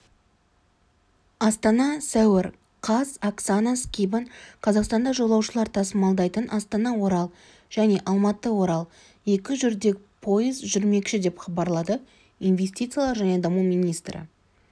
астана сәуір қаз оксана скибан қазақстанда жолаушылар тасымалдайтын астана-орал және алматы-орал екі жүрдек поезд жібермекші деп хабарлады инвестициялар және даму министрі